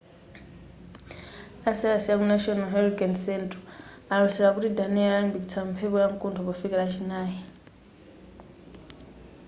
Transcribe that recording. a sayansi a ku national hurricane central alosera kuti danielle alimbikitsa mphepo yamkuntho pofika lachinayi